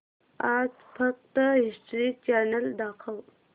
आज फक्त History Channel दाखव